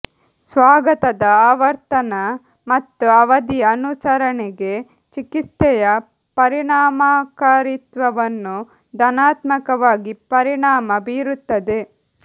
ಸ್ವಾಗತದ ಆವರ್ತನ ಮತ್ತು ಅವಧಿಯ ಅನುಸರಣೆಗೆ ಚಿಕಿತ್ಸೆಯ ಪರಿಣಾಮಕಾರಿತ್ವವನ್ನು ಧನಾತ್ಮಕವಾಗಿ ಪರಿಣಾಮ ಬೀರುತ್ತದೆ